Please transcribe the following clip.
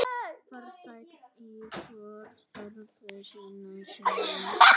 Farsæll í störfum sínum.